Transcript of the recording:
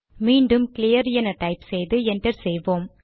மீண்டும் கிளியர் என டைப் செய்து என்டர் செய்வோம்